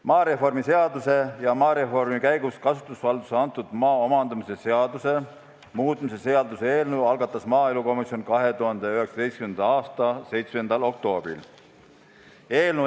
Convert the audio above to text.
Maareformi seaduse ja maareformi käigus kasutusvaldusesse antud maa omandamise seaduse muutmise seaduse eelnõu algatas maaelukomisjon 2019. aasta 7. oktoobril.